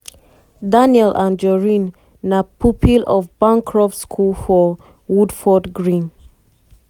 daniel anjorin na pupil of bancroft's school for woodford green.